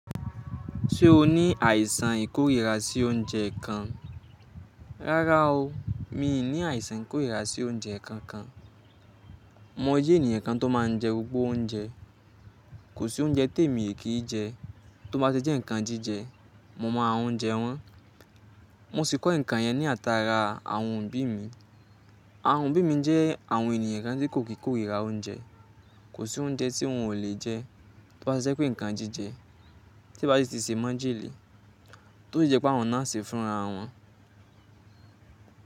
Ṣé o ní àìsàn ìkórìíra sí oúnjẹ kan? Rárá o, mi ò ní àìsàn ìkórìíra sí oúnjẹ kankan. Mo jẹ́ ènìyàn kan tó máa ń jẹ gbogbo oúnjẹ. Kò sí oúnjẹ tí èmi kì í jẹ tó bá ti jẹ́ ǹkan jíjẹ mo máa jẹ wọ́n. Mo sì kọ́ ǹkan yẹn ní àtàrà àwọn òbí mi. Àwọn òbí mi jẹ́ àwọn ènìyàn kan tí kò kí korira oúnjẹ. Kò sí oúnjẹ tí wọ́n ò lè jẹ tó bá ṣe pé ǹkan jíjẹ tí bá ti sì sè mọ́ńjẹ́lẹ̀ tó sì jẹ́ pé àwọn náà ṣe fúnra wọn.